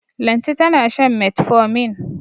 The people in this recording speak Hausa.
Lanti tana shan metformin.